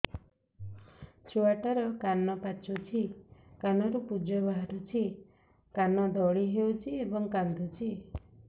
ଛୁଆ ଟା ର କାନ ପାଚୁଛି କାନରୁ ପୂଜ ବାହାରୁଛି କାନ ଦଳି ହେଉଛି ଏବଂ କାନ୍ଦୁଚି